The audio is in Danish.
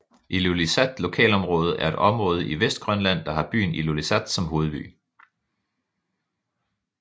Ilulissat Lokalområde er et område i Vestgrønland der har byen Ilulissat som hovedby